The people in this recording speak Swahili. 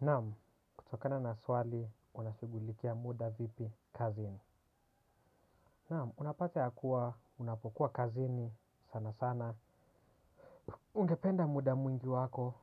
Naam, kutokana na swali, unashugulikia muda vipi kazini. Naam, unapate ya kuwa, unapokuwa kazini sana sana. Ungependa muda mwingi wako,